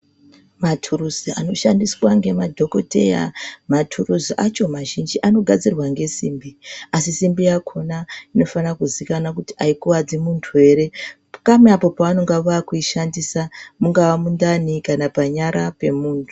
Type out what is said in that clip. Mathuruzi anoshandiswa ngemadhokodheya ,mathuruzi acho mazhinji anogadzirwa ngesimbi asi simbi yakhona inofanira kuzikana kuti aikuwadzi muntu ere kamwe apo pavanenge vakuishandisa mungava mundani kana panyara pemuntu.